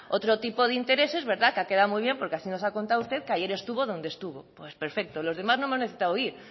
otro tipo de intereses que ha quedado muy bien porque así nos ha contado usted que ayer estuvo donde estuvo pues perfecto los demás no hemos necesitar ir